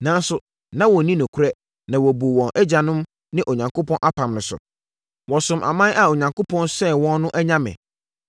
Nanso, na wɔnni nokorɛ, na wɔbuu wɔn agyanom ne Onyankopɔn apam no so. Wɔsomm aman a Onyankopɔn sɛee wɔn no anyame.